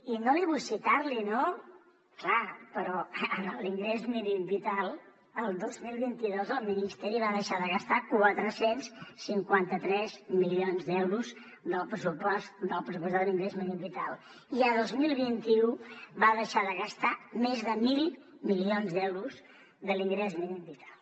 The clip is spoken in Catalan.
i no li vull citar no clar però en l’ingrés mínim vital el dos mil vint dos el ministeri va deixar de gastar quatre cents i cinquanta tres milions d’euros del pressupostat en ingrés mínim vital i el dos mil vint u va deixar de gastar més de mil milions d’euros de l’ingrés mínim vital